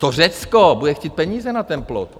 To Řecko bude chtít peníze na ten plot.